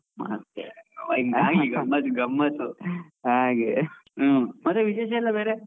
ಮತ್ತೆ ಗಮ್ಮತು ಗಮ್ಮತು, ಹಾಗೆ ವಿಶೇಷಾ ಎಲ್ಲಾ ಬೇರೆ.